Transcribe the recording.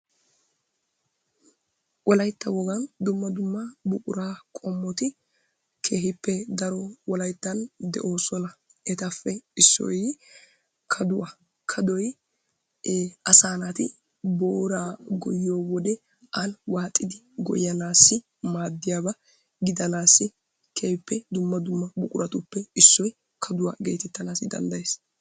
Wolaytta woggan dumma dumma buquraa qommoti keehippe daro etappe issoy kaduwaa. Kaaduwaa asaa naati booraa gooyiyoo wode ani waaxxidi gooyyanassi maaddiyaaba giidanaasi keehippe dumma dumma buquratuppe issoy kaduwaa gettetanaasi danddayees.